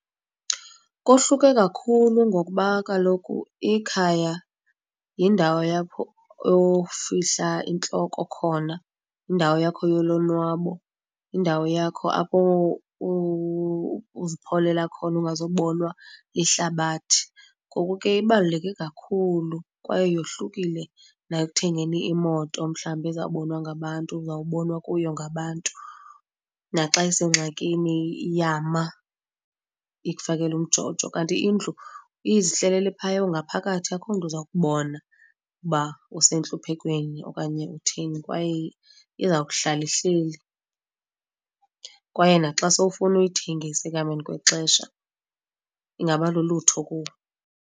Kohluke kakhulu ngokuba kaloku ikhaya yindawo apho ofihla intloko khona, yindawo yakho yolonwabo, yindawo yakho apho uzipholela khona ungazubonwa lihlabathi. Ngoku ke ibaluleke kakhulu kwaye yohlukile nayo ekuthengeni imoto, mhlawumbi ezawubonwa ngabantu uzawubonwa kuyo ngabantu naxa isengxakini iyama, ikufakela umjojo. Kanti indlu izihlelele phaya, ungaphakathi, akuho mntu uza kubona uba usentluphekweni okanye utheni kwaye iza kuhlala ihleli. Kwaye naxa sowufuna uyithengisa ekuhambeni kwexesha ingaba lulutho kuwe.